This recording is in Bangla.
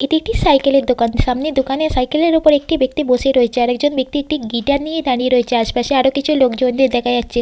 এটি একটি সাইকেলের দোকান সামনে দোকানে সাইকেলের ওপরে একটি ব্যক্তি বসে রয়েছে আর একজন ব্যক্তি একটি গিটার নিয়ে দাঁড়িয়ে রয়েছে আশপাশে আরো কিছু লোকজনদের দেখা যাচ্ছে।